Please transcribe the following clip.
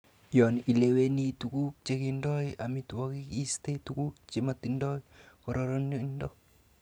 Yon ileweni tuguk chekindo amitwogik iiste tuguk chemotindo kororonindo.